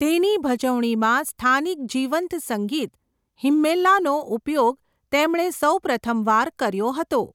તેની ભજવણીમાં સ્થાનિક જીવંત સંગીત હિમ્મેલાનો ઉપયોગ તેમણે સૌપ્રથમવાર કર્યો હતો.